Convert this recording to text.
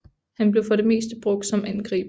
Han blev for det meste brugt som angriber